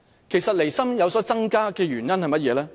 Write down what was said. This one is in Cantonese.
其實，離心增加的原因是甚麼呢？